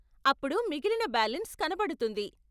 అప్పుడు మిగిలిన బాలెన్స్ కనపడుతుంది.